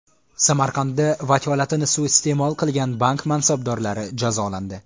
Samarqandda vakolatini suiiste’mol qilgan bank mansabdorlari jazolandi.